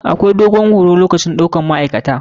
Akwai dogon horo lokacin ɗaukan ma'aikata.